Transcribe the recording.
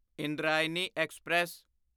Indrayani express